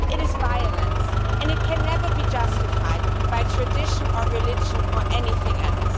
It is violence and it can never be justified by tradition or religion or anything else.